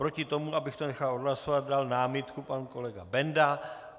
Proti tomu, abych to nechal odhlasovat, dal námitku pan kolega Benda.